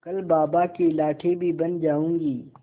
कल बाबा की लाठी भी बन जाऊंगी